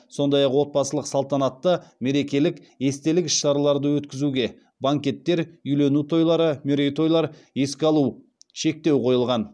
сондай ақ отбасылық салтанатты мерекелік естелік іс шараларды өткізуге шектеу қойылған